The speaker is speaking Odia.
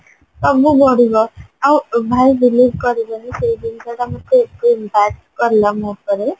ଆଉ ଭାଇ believe କରିବେନି ସେଇ ଜିନିଷ ଟା ଏତେ କଲା ମୋ ଉପରେ